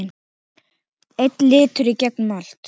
Einn litur í gegnum allt.